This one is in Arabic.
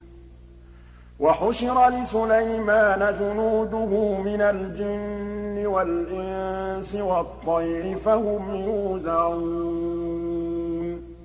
وَحُشِرَ لِسُلَيْمَانَ جُنُودُهُ مِنَ الْجِنِّ وَالْإِنسِ وَالطَّيْرِ فَهُمْ يُوزَعُونَ